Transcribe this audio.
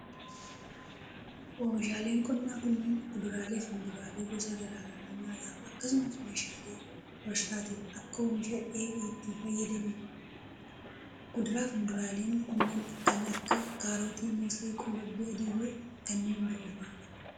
Oomishaaleen qonnaa kunneen kuduraalee fi muduraalee gosa garaa garaa nyaataf akkasumas oomishaalee warshaatif akka oomisha dheedhiitti fayyadanii dha. Kuduraa fi muduraaleen kunneen kan akka:kaarotii, moosee ,qullubbii adii fi kanneen biroo faa dha.